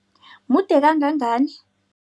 Mude kangangani?